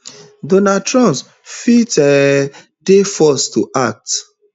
donald trump fit um dey forced to act